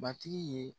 Batigi ye